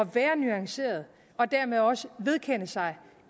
være nuanceret og dermed også vedkende sig